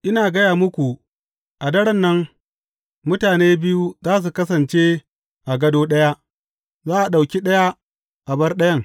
Ina gaya muku, a daren nan, mutane biyu za su kasance a gado ɗaya, za a ɗauki ɗaya, a bar ɗayan.